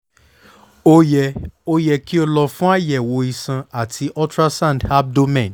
o yẹ o yẹ ki o lọ fun ayẹwo iṣan ati ultrasound abdomen